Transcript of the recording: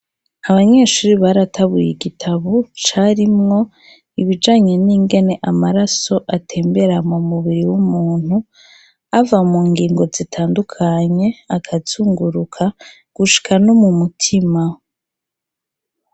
Abanyeshuri baratabuye igitabo carimwo ibijanye n'ingene amaraso atembera mu mubiri w'umuntu ava mu ngingo zitandukanye, akazunguruka gushika no mu mutima.